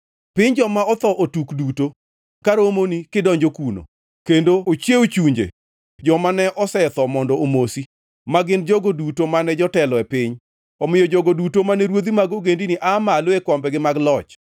Piny joma otho otuk duto ka romoni kidonjo kuno, kendo ochiewo chunje joma ne osetho mondo omosi, ma gin jogo duto mane jotelo e piny; omiyo jogo duto mane ruodhi mag ogendini aa malo e kombegi mag loch.